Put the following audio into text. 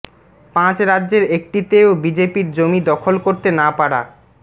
পাঁচ রাজ্যের একটিতেও বিজেপির জমি দখল করতে না পারা